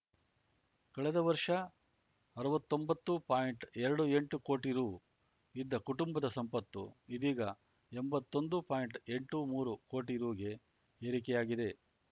ಕಳೆದ ವರ್ಷ ಅರ್ವತ್ತೊಂಬತ್ತು ಪಾಯಿಂಟ್ಎರಡು ಎಂಟು ಕೋಟಿ ರು ಇದ್ದ ಕುಟುಂಬದ ಸಂಪತ್ತು ಇದೀಗ ಎಂಬತ್ತೊಂದು ಪಾಯಿಂಟ್ಎಂಟು ಮೂರು ಕೋಟಿ ರುಗೆ ಏರಿಕೆಯಾಗಿದೆ